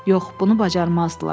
Yox, bunu bacarmazdılar.